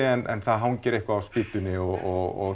en það hangir eitthvað á spýtunni og